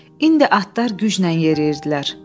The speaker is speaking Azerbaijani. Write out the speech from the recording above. İndi atlar güclə yeriyirdilər.